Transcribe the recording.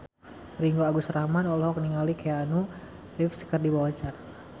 Ringgo Agus Rahman olohok ningali Keanu Reeves keur diwawancara